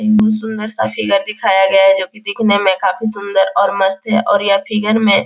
सुंदर सा फिगर दिखाया गया है जो की दिखने में काफी सुंदर और मस्त है और यह फिगर में --